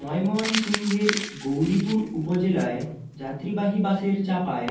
ময়মনসিংহের গৌরীপুর উপজেলায় যাত্রীবাহী বাসের চাপায়